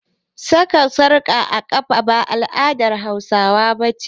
Saka zoben ƙafa ba al'adar Hausawa ba ce